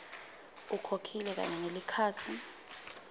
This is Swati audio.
ukhokhile kanye nelikhasi